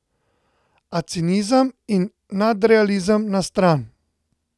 A cinizem in nadrealizem na stran!